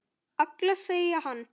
Alla, sagði hann.